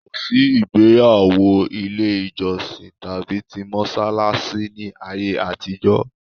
Kò sí ìgbéyàwó ilé ìjọsìn tàbí ti mọ́sálásí ní ayé àtijọ́